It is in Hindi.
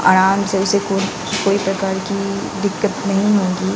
आराम से उसे कोई कोई प्रकार की दिक्कत नहीं होगी।